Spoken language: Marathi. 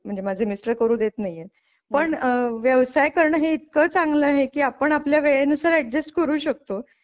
म्हणजे माझे मिस्टर करू देत नाही पण व्यवसाय करणं हे इतकं चांगलं आहे की आपण आपल्या वेळेनुसार अॅडजस्ट करू शकतो.